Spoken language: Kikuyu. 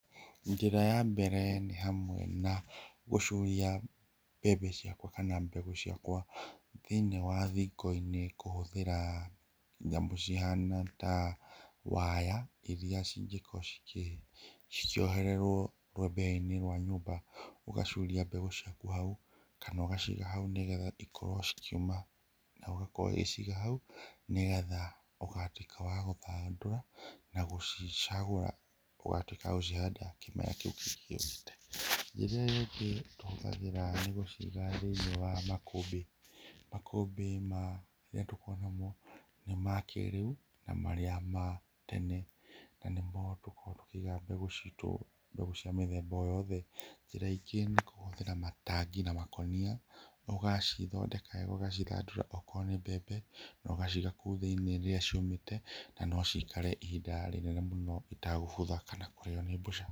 Njĩra ya mbere nĩ hamwe na gũcuria mbembe ciakwa kana mbegũ ciakwa thĩinĩ wa thingo-inĩ kũhũthĩra nyamũ cihana ta waya iria cingĩkorwo cikĩohererwo rũthĩa-inĩ rwa nyũmba. Ũgacuria mbegũ ciaku hau kana ũgaciga hau nĩ getha cikorwo cikĩũma, na ũgakorwo ũgĩciga hau nĩ getha ũgatuĩka wa gũcithandũra na gũcicagũra ũgatuĩka wa gũcihanda kĩmera kĩu kĩngĩ gĩũkĩte. Kĩrĩa kĩngĩ tũhũtagĩra nĩ gũciga thĩinĩ wa makũmbĩ makũmbĩ marĩa tũkoragwo namo nĩ makĩrĩu na marĩa ma tene na nĩmo tũkoragwo tũkĩiga mbegũ citũ mbegũ cia mĩthemba o yothe. Njĩra ingĩ nĩ kuhũthĩra matangi na makonia, ũgacithondeka wega ũgacithandũra okorwo nĩ mbembe na ũgaciga kũu thĩinĩ rĩrĩa ciũmite na no cikare ihinda inene mũno citagũbutha kana kũrĩo nĩ mbũca.